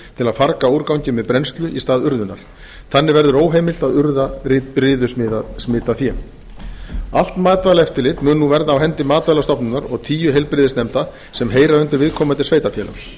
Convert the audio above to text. til að farga úrgangi með brennslu í stað urðunar þannig verður óheimilt að urða riðusmitað fé allt matvælaeftirlit mun nú verða á hendi matvælastofnunar og tíu heilbrigðisnefnda sem heyra undir viðkomandi sveitarfélag